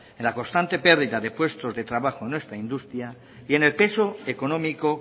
en la constante pérdida de puestos de trabajo en nuestra industria y en el peso económico